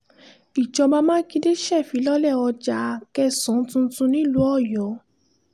ìjọba mákindè ṣèfilọ́lẹ̀ ọjà a kẹsàn tuntun nílùú ọyọ́